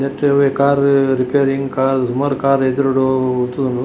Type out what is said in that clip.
ನೆಟ್ಟ್ ಅವ್ವೆ car repairing car ಸುಮಾರ್ ಕಾರ್ ಎದುರುಡು ಉಂತುದುಂಡು.